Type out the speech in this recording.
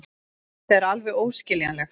Þetta er alveg óskiljanlegt.